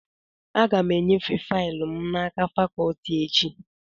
Aga m enyefe faịlụ m n'aka fakọtị echi